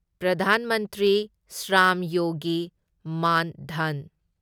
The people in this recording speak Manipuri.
ꯄ꯭ꯔꯙꯥꯟ ꯃꯟꯇ꯭ꯔꯤ ꯁ꯭ꯔꯥꯝ ꯌꯣꯒꯤ ꯃꯥꯟ ꯙꯟ